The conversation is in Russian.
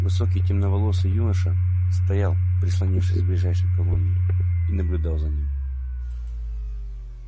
высокий темноволосый юноша стоял прислонившись к ближайшей колонне и наблюдал за ним